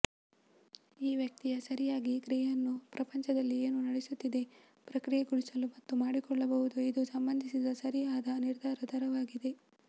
ಈ ವ್ಯಕ್ತಿಯ ಸರಿಯಾಗಿ ಕ್ರಿಯೆಯನ್ನು ಪ್ರಪಂಚದಲ್ಲಿ ಏನು ನಡೆಯುತ್ತಿದೆ ಪ್ರಕ್ರಿಯೆಗೊಳಿಸಲು ಮತ್ತು ಮಾಡಿಕೊಳ್ಳಬಹುದು ಇದು ಸಂಬಂಧಿಸಿದ ಸರಿಯಾದ ನಿರ್ಧಾರ ದರವಾಗಿದೆ